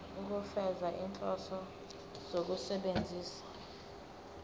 ukufeza izinhloso zokusebenzisa